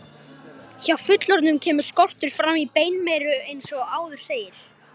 Hjá fullorðnum kemur skortur fram í beinmeyru eins og áður segir.